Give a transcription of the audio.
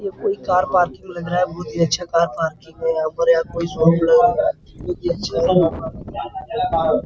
ये कोई car parking लग रहा है | बहुत ही अच्छा कार पार्किंग है | यहाँ ऊपर यहाँ कोई सॉन्ग भी लगा हुआ है यह भी अच्छा है